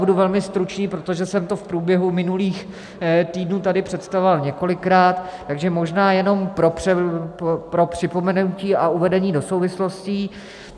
Budu velmi stručný, protože jsem to v průběhu minulých týdnů tady představoval několikrát, takže možná jenom pro připomenutí a uvedení do souvislostí.